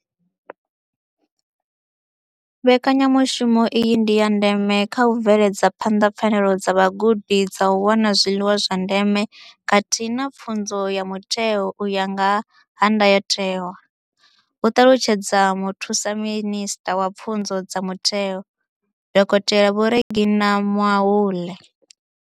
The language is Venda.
Mbekanya mushumo iyi ndi ya ndeme kha u bveledza phanḓa pfanelo dza vhagudi dza u wana zwiḽiwa zwa ndeme khathihi na pfunzo ya mutheo u ya nga ndayotewa, hu ṱalutshedza Muthusaminisṱa wa Pfunzo dza Mutheo, Dokotela Vho Reginah Mhaule.